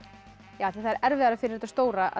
af því það er erfiðara fyrir þetta stóra að